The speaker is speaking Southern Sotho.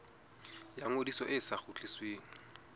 ya ngodiso e sa kgutlisweng